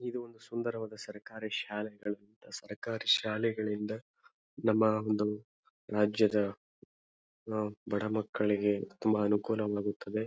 ಇದು ಒಂದು ಸುಂದರವಾದ ಸರ್ಕಾರಿ ಶಾಲೆಗಳು ಸರ್ಕಾರೀ ಶಾಲೆಗಳಿಂದ ನಮ್ಮ ಒಂದು ರಾಜ್ಯದ ಅಹ್ ಬಡ ಮಕ್ಕಳಿಗೆ ತುಂಬಾ ಅನುಕೂಲವಾಗುತ್ತದೆ.